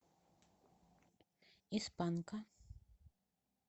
из панка